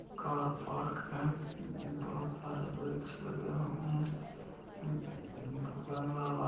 car park हैबहुत सारे वृक्ष लगे हुए हैं बगला व--